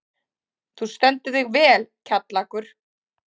Þú stendur þig vel, Kjallakur!